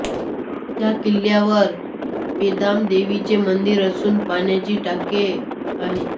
या किल्ल्यावर पेमादेवीचे मंदिर असून पाण्याची टाके आहेत